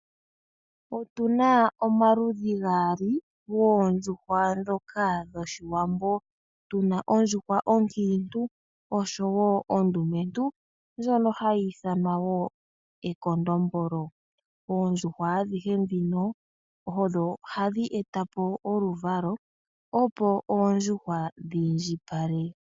Otu na omaludhi gaali goondjuhwa ndhoka dhoshiwambo, tu na ondjuhwa oonkiintu oshowo ondumentu ndjono hayi ithanwa ishewe ekondombolo. Oondjuhwa adhihe ndhino odho hadhi eta po oluvalo opo oondjuhwa dhiindjipale.